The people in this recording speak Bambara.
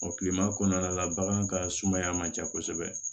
kilema kɔnɔna la bagan ka sumaya man ca kosɛbɛ